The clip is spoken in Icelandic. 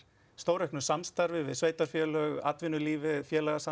stórauknu samstarfi við sveitarfélög atvinnulífið